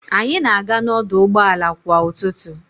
Anyị na-aga n'ọdụ ụgbọ ala kwa ụtụtụ.